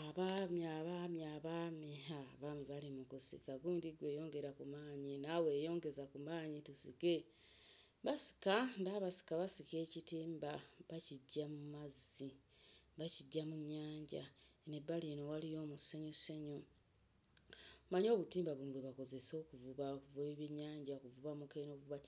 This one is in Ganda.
Abaami abaami abaami ha abaami bali mu kusika gundi ggwe yongeza ku maanyi naawe yongeza ku maanyi tusike basika ndaba basika basika ekitimba bakiggya mu mazzi bakiggya mu nnyanja eno ebbali eno waliyo omusenyusenyu. Mmanyi obutimba buno bwe bakozesa okuvuba buvuba ebyennyanja buvuba mukene buvuba